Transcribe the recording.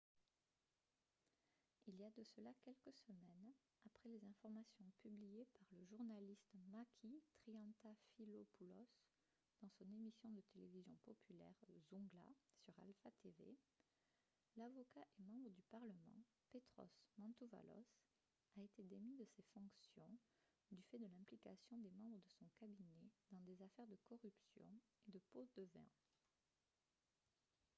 il y a de cela quelques semaines après les informations publiées par le journaliste makis triantafylopoulos dans son émission de télévision populaire « zoungla » sur alpha tv l'avocat et membre du parlement petros mantouvalos a été démis de ses fonctions du fait de l'implication des membres de son cabinet dans des affaires de corruption et de pots-de-vin